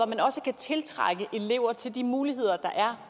man også kan tiltrække elever til de muligheder der er